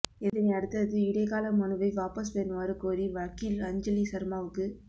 இதனையடுத்தது இடைக்கால மனுவை வாபஸ் பெறுமாறு கோரி வக்கீல் அஞ்சலி சர்மாவுக்கு